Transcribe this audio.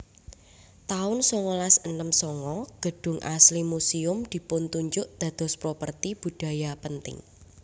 taun songolas enem sanga Gedung Asli Museum dipuntunjuk dados Properti Budaya Penting